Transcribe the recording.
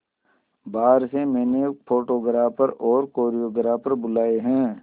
बाहर से मैंने फोटोग्राफर और कोरियोग्राफर बुलाये है